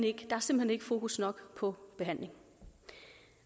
ikke fokus nok på behandling